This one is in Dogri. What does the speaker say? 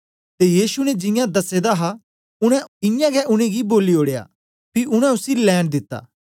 ते यीशु ने जियां दसे दा हा उनै इयां गै उनेंगी बोली ओड़या पी उनै उसी लैंन दिता